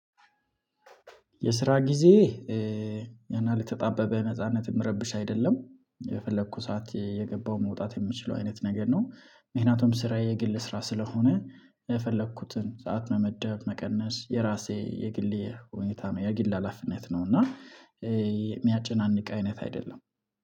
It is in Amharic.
የስራ ጊዜ ያን ያህል የተጣበበ ነጻነት የምረብሽ አይደለም የፈለኩ ሰዓት የገባው መውጣት የምችለው አይነት ነገር ነው። ምክንያቱም ስራዬ የግል ስራ ስለሆነ የፈለኩትን ሰዓት መመደብ መቀነስ የራሴ የግሌ ሁኔታ የግል ሀላፊነት ነው። እና የሚያጨናንቅ አይነት አይደለም።